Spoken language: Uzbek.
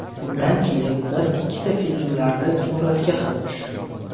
Undan keyin bir-ikkita filmlarda suratga ham tushdim.